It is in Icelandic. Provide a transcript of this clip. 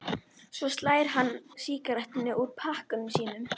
Svo slær hann sígarettu úr pakkanum sínum.